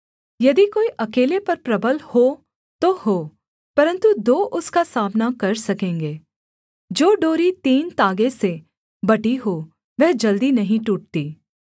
यदि कोई अकेले पर प्रबल हो तो हो परन्तु दो उसका सामना कर सकेंगे जो डोरी तीन तागे से बटी हो वह जल्दी नहीं टूटती